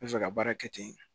N bɛ fɛ ka baara kɛ ten